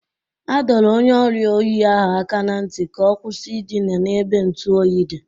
Adọrọ onye ọriịa oyi ahụ aka na ntị ka ọ kwụsị ịdịna n'ebe ntụ oyi dị.